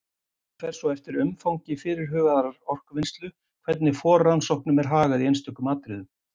Það fer svo eftir umfangi fyrirhugaðrar orkuvinnslu hvernig forrannsóknum er hagað í einstökum atriðum.